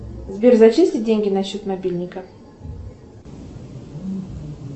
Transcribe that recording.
сбер зачисли деньги на счет мобильника